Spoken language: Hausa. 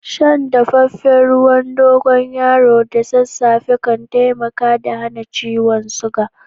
San dafafen ruwan dogoyaro da sasafe kan taimaka da hana ciwon suga.